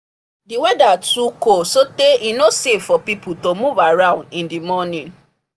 the weather too cold so tey e no safe for people to move around in the morning